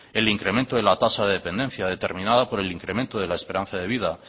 el incremento de la tasa de dependencia determinada por el incremento de la esperanza de vida